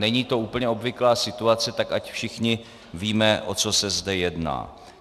Není to úplně obvyklá situace, tak ať všichni víme, o co se zde jedná.